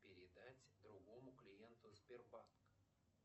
передать другому клиенту сбербанка